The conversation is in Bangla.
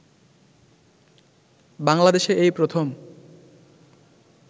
বাংলাদেশে এই প্রথম